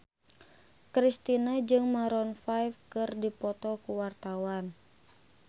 Kristina jeung Maroon 5 keur dipoto ku wartawan